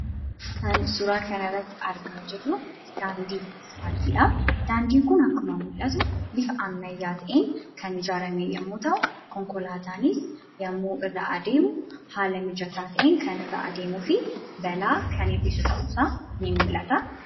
Kan suuraa kana irratti argaa jirru daandii 'asfaaltii'dha. Daandiin kun akkuma argaa jirru bifa ammayyaa ta'een kan hojjetame yemmuu ta'u, konkolaataanis yemmuu irra adeemu haala mijataa ta'een yemmuu irra adeemuu fi balaa kan hir'isu ta'uun isaa ni mul'ata.